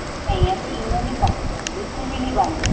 ਨਹੀਂ ਅਸੀਂ ENO ਨਹੀਂ ਪਾਂਦੇ ਬਿਲਕੁਲ ਵੀ ਨਹੀਂ ਪਾਂਦੇ